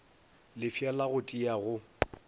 lefša la go tia go